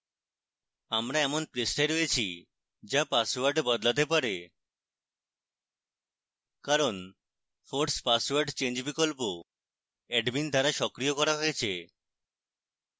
আমরা এমন পৃষ্ঠায় রয়েছি যা পাসওয়ার্ড বদলাতে বলে কারণ force password change বিকল্প admin দ্বারা সক্রিয় করা হয়েছে